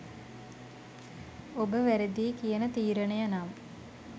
ඔබ වැරදියි කියන තීරණය නම්